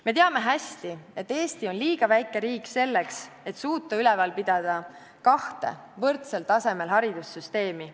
Me teame hästi, et Eesti on liiga väike riik selleks, et suuta üleval pidada kahte võrdsel tasemel haridussüsteemi.